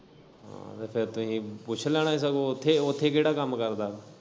ਹਾਂ ਤੇ ਫੇਰ ਤੁਹੀਂ ਪੁੱਛ ਲੈਣਾ ਹੀ ਸਗੋਂ ਉੱਥੇ ਉੱਥੇ ਕੇੜਾ ਕੰਮ ਕਰਦਾ।